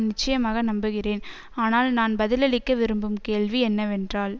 நிச்சயமாக நம்புகிறேன் ஆனால் நான் பதிலளிக்க விரும்பும் கேள்வி என்னவென்றால்